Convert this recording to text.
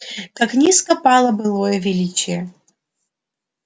как низко пало былое величие